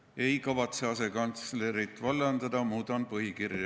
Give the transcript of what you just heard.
Ma ei kavatse asekantslerit vallandada, ma muudan põhikirja.